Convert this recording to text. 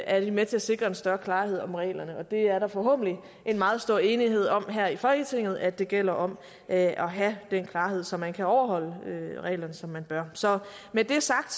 er de med til at sikre en større klarhed om reglerne og der er forhåbentlig en meget stor enighed om her i folketinget at det gælder om at have den klarhed så man kan overholde reglerne som man bør så med det sagt